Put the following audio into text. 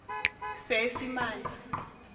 seesimane